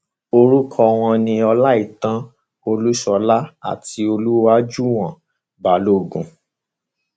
orúkọ wọn ni ọláìtàn olúṣọlá àti olùwájúwọn balógun